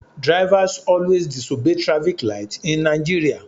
Drivers always disobey traffic light in Nigeria